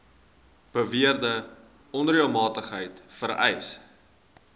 beweerde onreëlmatigheid vereis